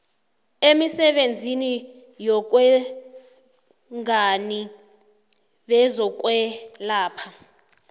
emisebenzini yobungani bezokwelapha